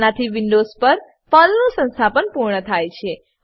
આનાથી વિન્ડોવ્ઝ પર પર્લનું સંસ્થાપન પૂર્ણ થાય છે